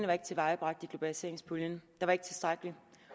var tilvejebragt i globaliseringspuljen der var ikke tilstrækkeligt